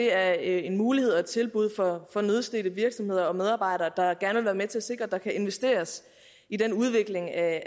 er en mulighed og et tilbud for nødstedte virksomheder og medarbejdere der gerne vil være med til at sikre at der kan investeres i den udvikling af